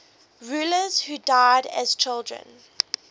rulers who died as children